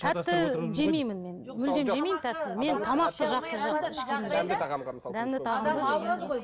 тәтті жемеймін мен мүлдем жемеймін тәттіні мен тамақты жақсы